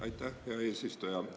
Aitäh, hea eesistuja!